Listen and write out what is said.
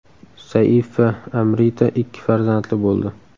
Saif va Amrita ikki farzandli bo‘ldi.